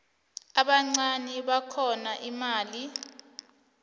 ubuncani bakhona imali